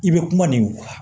I bɛ kuma nin kan